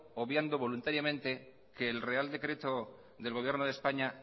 obviando voluntariamente que el real decreto del gobierno de españa